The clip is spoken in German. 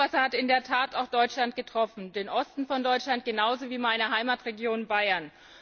Das Hochwasser hat in der Tat auch Deutschland getroffen, den Osten Deutschlands genauso wie meine Heimatregion Bayern.